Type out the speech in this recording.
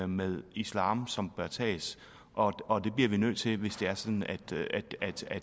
med islam som bør tages og det bliver vi nødt til hvis det er sådan at